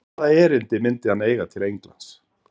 Hvaða erindi myndi hann eiga til Englands?